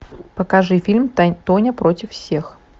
покажи фильм тоня против всех